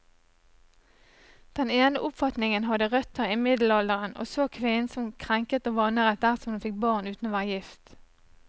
Den ene oppfatningen hadde røtter i middelalderen, og så kvinnen som krenket og vanæret dersom hun fikk barn uten å være gift.